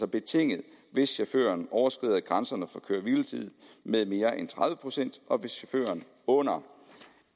betinget hvis chaufføren overskrider grænserne for køre hvile tid med mere end tredive procent og hvis chaufføren under